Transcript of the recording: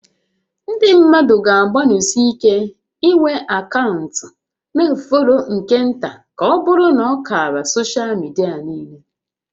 Ndị mmadụ ga-agbanịsi ike inwe akaụntụ na ọ fọrọ nke nta ka ọbụrụ na ákàrà soshal midia niile